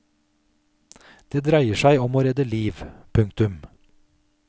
Det dreier seg om å redde liv. punktum